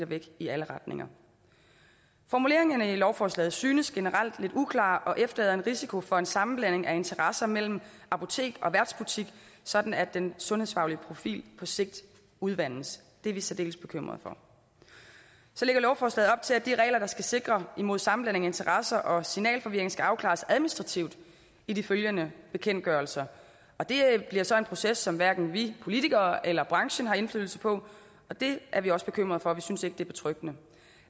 væk i alle retninger formuleringerne i lovforslaget synes generelt lidt uklare og efterlader en risiko for en sammenblanding af interesser mellem apotek og værtsbutik sådan at den sundhedsfaglige profil på sigt udvandes det er vi særdeles bekymret for så lægger lovforslaget op til at de regler der skal sikre imod sammenblanding af interesser og signalforvirring skal afklares administrativt i de følgende bekendtgørelser det bliver så en proces som hverken vi politikere eller branchen har indflydelse på og det er vi også bekymrede for vi synes ikke det er betryggende